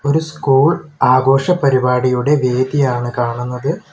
ഒരു സ്കൂൾ ആഘോഷ പരിപാടിയുടെ വേദിയാണ് കാണുന്നത്.